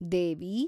ದೇವಿ